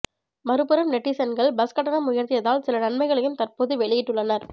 மறுபுறம் நெட்டிசன்கள் பஸ் கட்டணம் உயர்த்தியதால் சில நன்மைகளையும் தற்போது வெளியிட்டுள்ளனர்